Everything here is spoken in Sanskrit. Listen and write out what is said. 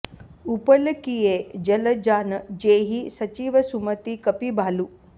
उपल किए जलजान जेहिं सचिव सुमति कपि भालु